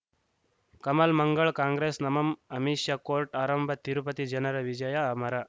ಕಮಲ್ ಮಂಗಳ್ ಕಾಂಗ್ರೆಸ್ ನಮಂ ಅಮಿಷ್ ಕೋರ್ಟ್ ಆರಂಭ ತಿರುಪತಿ ಜನರ ವಿಜಯ ಅಮರ